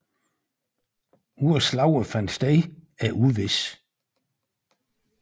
Hvor slaget fandt sted er uvist